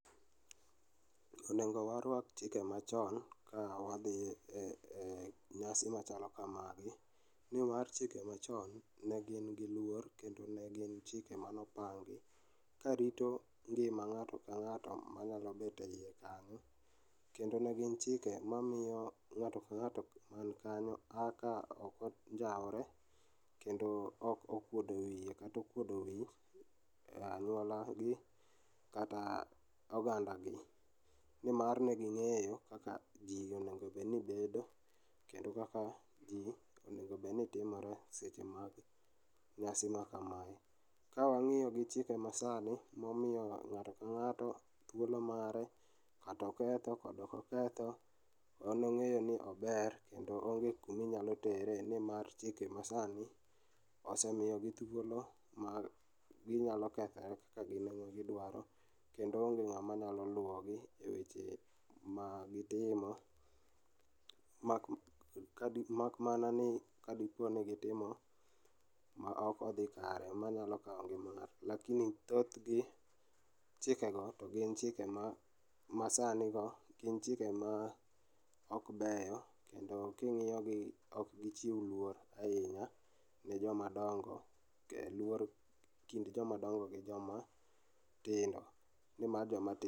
Onego warwak chike machon ka wadhiye nyasi machalo kama nimar chike machon negin gi luor kendo negin chike mane opangi karito ngima ng'ato ka ng'ato manyalo bet eiye kanyo kendo negin chike mamiyo ng'ato ka ng'ato man kanyo kaka ok onjaore kendo ok okuodo wiye kata okuodo wich anyuola gi kata oganda gi. Nimar neging'eyo kaka jii onego obedni bedo kendo kaka jii onego obedni timore e seche ma nyasi makamae. Ka wang'iyo gi chike masani momiyo ng'ato ka ng'ato thuolo mare, kata oketho kata ok oketho, en ongeyo ni ober kendo onge kuma inyalo tere nimar chike masani osemiyo gi thuolo mar ginyalo kethre kagin ema gidwaro kendo onge ng'ama nyalo luogi e weche ma gitimo mak mana ni kadiponi gitimo ma ok odhi kare manyalo kao ngima ngato. Lakini thothgi chike go togin chike masani go, gin chike ma ok beyo kendo kingiyo gi ok gichiw luoro ahinya ne joma dongo kendo luor kind joma dongo gi joma tindo nimar joma tindo